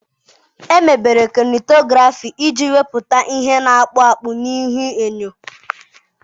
Emebere Kainetografị iji wepụta ihe na-akpụ akpụ na ihuenyo.